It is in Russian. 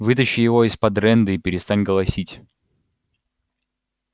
вытащи его из-под рэнды и перестань голосить